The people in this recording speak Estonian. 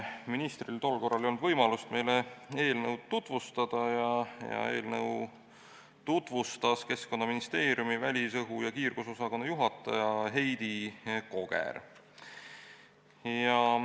Ministril tol korral ei olnud võimalik meile eelnõu tutvustada ja eelnõu tutvustas Keskkonnaministeeriumi välisõhu ja kiirgusosakonna juhataja Heidi Koger.